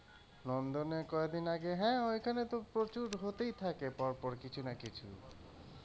নন্দনে কয়দিন আগে হ্যাঁ, ওইখানে তো প্রচুর হতেই থাকে পরপর কিছু না কিছু,